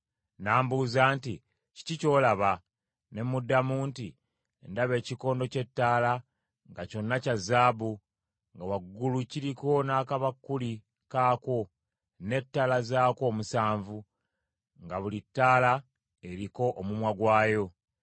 N’ambuuza nti, “Kiki ky’olaba?” Ne muddamu nti, “Ndaba ekikondo ky’ettaala nga kyonna kya zaabu, nga waggulu kiriko n’akabakuli kaakwo, n’ettaala zaakwo omusanvu, nga buli ttaala eriko omumwa gwayo.